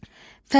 Fəzilət.